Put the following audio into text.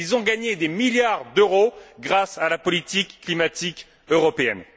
Ils ont gagné des milliards d'euros grâce à la politique climatique européenne.